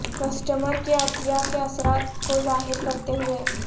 customer کے عطیہ کے اثرات کو ظاہر کرتے ہوئے